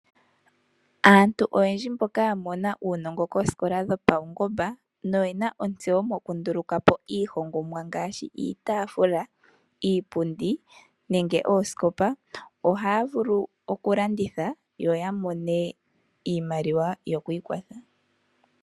Aantu oyendji mboka yamona uunongo koosikola dhopawungomba noyena ontseyo moku ndulukapo iihongomwa ngaashi iitafula ,iipundi nenge oosikopa ohaya vulu oku landitha yo yamone iimaliwa yoku ikwatha.